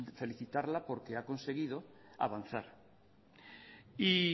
felicitarla porque ha conseguido avanzar y